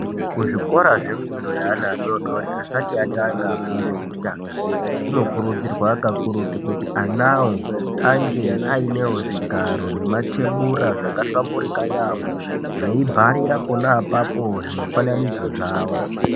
Kuzvikora zvefundo yeana adodori asati atanga fundo yekutanga. Kunokurudzirwa kakurutu kuti anavo ainge ainevo zvigaro nematebura akahlamburika yaamho. Veibharira pona apapo zvimufananidzo zvavo.